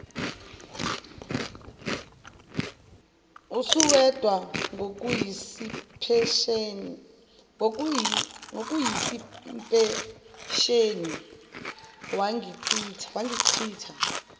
usuwedwa ngokuyisipesheni bangichitha